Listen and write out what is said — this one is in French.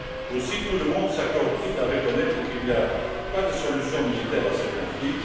Aussi tout le monde s'accorde t il à reconnaître qu'il n'y a pas de solution militaire à ce conflit.